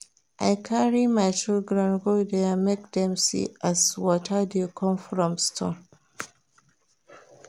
I carry my children go there make dem see as water dey come from stone.